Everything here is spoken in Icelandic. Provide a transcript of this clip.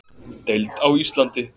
Deild á Íslandi.